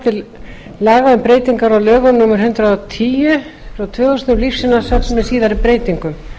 um breytingar á lögum númer hundrað og tíu tvö þúsund um lífsýnasöfn með síðari breytingum